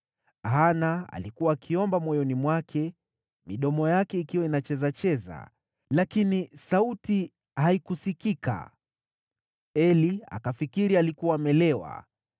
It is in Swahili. Hana alikuwa akiomba moyoni mwake, midomo yake ikiwa inachezacheza lakini sauti haikusikika. Eli akafikiri alikuwa amelewa